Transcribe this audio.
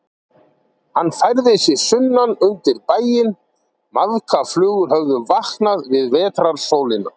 Hann færði sig sunnan undir bæinn, maðkaflugur höfðu vaknað við vetrarsólina.